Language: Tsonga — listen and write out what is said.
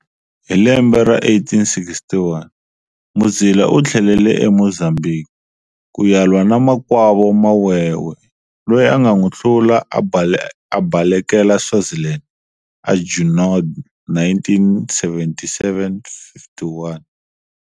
Hi lembe ra 1861 Muzila u tlhelele eMozambiki ku ya lwa na makwavo Mawewe, loyi a nga nwi hlula a balekela Swaziland, Junod, 1977-51